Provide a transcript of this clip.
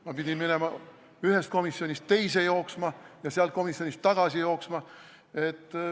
Ma pidin ühest komisjonist teise ja siis tagasi jooksma.